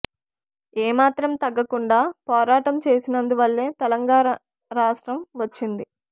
ఏ మాత్రం తగ్గకుండా పోరాటం చేసినందు వల్లే తెలంగాణ రాష్ట్రం వచ్చింది